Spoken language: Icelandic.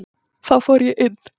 Þá fór ég inn.